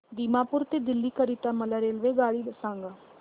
दिमापूर ते दिल्ली करीता मला रेल्वेगाडी सांगा